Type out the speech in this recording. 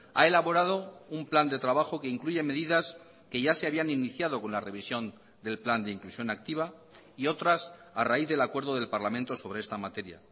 ha elaborado un plan de trabajo que incluye medidas que ya se habían iniciado con la revisión del plan de inclusión activa y otras a raíz del acuerdo del parlamento sobre esta materia